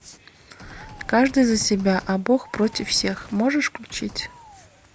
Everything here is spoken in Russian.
каждый за себя а бог против всех можешь включить